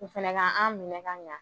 U fɛnɛ ka an minɛ ka ɲa